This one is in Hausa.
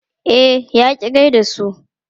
E, ya ƙi gai da su.